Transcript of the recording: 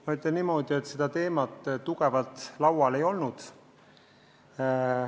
Ma ütlen niimoodi, et seda teemat tugevalt laual ei olnud.